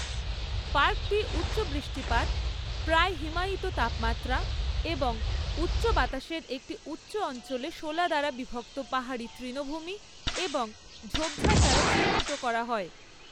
পার্কটি উচ্চ বৃষ্টিপাত, প্রায় হিমায়িত তাপমাত্রা এবং উচ্চ বাতাসের একটি উচ্চ অঞ্চলে শোলা দ্বারা বিভক্ত পাহাড়ি তৃণভূমি এবং ঝোপঝাড় দ্বারা চিহ্নিত করা হয়।